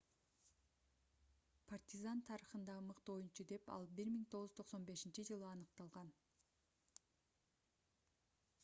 партизан тарыхындагы мыкты оюнчу деп ал 1995-жылы аныкталган